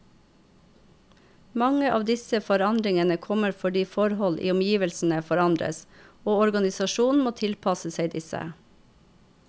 Mange av disse forandringene kommer fordi forhold i omgivelsene forandres, og organisasjonen må tilpasse seg disse.